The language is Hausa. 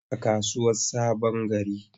A kasuwar sabongari.